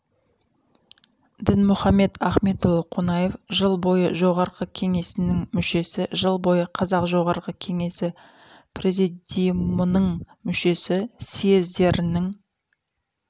дінмұхамед ахметұлы қонаев жыл бойы жоғарғы кеңесінің мүшесі жыл бойы қазақ жоғарғы кеңесі президиумының мүшесі съездерінің